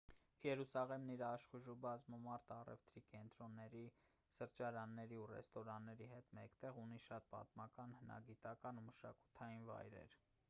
երուսաղեմն իր աշխույժ ու բազմամարդ առևտրի կենտրոնների սրճարանների ու ռեստորանների հետ մեկտեղ ունի շատ պատմական հնագիտական ու մշակութային վայրեր